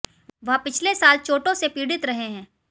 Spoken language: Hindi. वह पिछले साल चोटों से पीड़ित रहे हैं